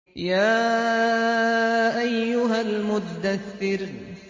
يَا أَيُّهَا الْمُدَّثِّرُ